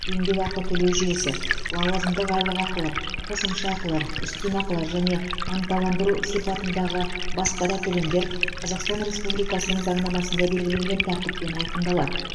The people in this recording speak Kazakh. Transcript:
еңбек ақы төлеу жүйесі лауазымдық айлықақылар қосымша ақылар үстем ақылар және ынталандыру сипатындағы басқа да төлемдер қазақстан республикасының заңнамасында белгіленген тәртіппен айқындалады